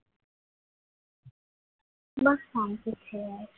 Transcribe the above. બસ શાંતિ છે યાર